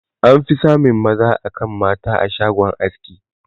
An fi samun maza akan mata a shagon aski.